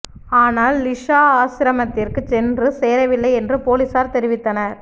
ஆனால் லிஸா ஆசிரமத்திற்குச் சென்று சேரவில்லை என்று போலிசார் தெரிவித்தனர்